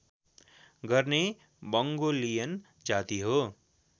गर्ने मङ्गोलियन जाति हो